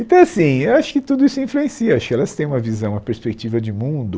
Então, assim, eu acho que tudo isso influencia, acho que elas têm uma visão, uma perspectiva de mundo